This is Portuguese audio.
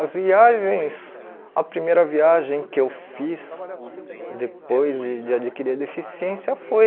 As viagens... A primeira viagem que eu fiz depois de de adquirir a deficiência foi...